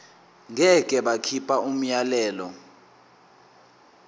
ngeke bakhipha umyalelo